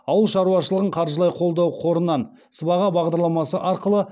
ауыл шаруашылығын қаржылай қолдау қорынан сыбаға бағдарламасы арқылы